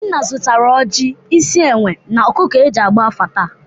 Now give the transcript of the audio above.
Obinna zụtara ọjị, isi enwe, na ọkụkụ e ji agba afa taa.